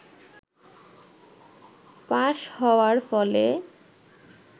pass হওয়ার ফলে